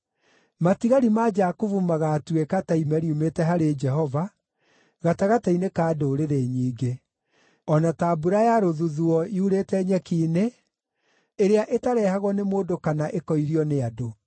Matigari ma Jakubu magaatuĩka ta ime riumĩte harĩ Jehova gatagatĩ-inĩ ka ndũrĩrĩ nyingĩ, o na ta mbura ya rũthuthuũ yurĩte nyeki-inĩ, ĩrĩa ĩtarehagwo nĩ mũndũ kana ĩkoirio nĩ andũ.